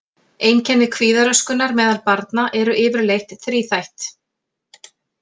Einkenni kvíðaröskunar meðal barna eru yfirleitt þríþætt.